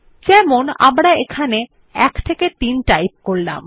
যেমন আমরা এখানে 1 3 টাইপ করলাম